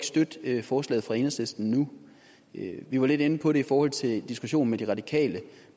støtte forslaget fra enhedslisten nu vi var lidt inde på det i forhold til diskussionen med de radikale